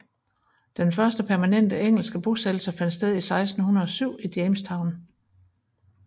Den første permanente engelske bosættelse fandt sted i 1607 i Jamestown